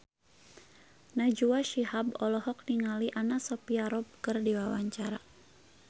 Najwa Shihab olohok ningali Anna Sophia Robb keur diwawancara